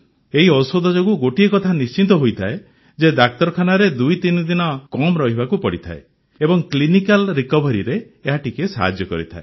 ଏହି ଔଷଧ ଯୋଗୁଁ ଗୋଟିଏ କଥା ନିଶ୍ଚିତ ହୋଇଥାଏ ଯେ ଡାକ୍ତରଖାନାରେ ୨୩ ଦିନ କମ୍ ରହିବାକୁ ପଡ଼ିଥାଏ ଏବଂ କ୍ଲିନିକାଲ୍ ରିକଭରିରେ ଏହା ଟିକିଏ ସାହାଯ୍ୟ କରିଥାଏ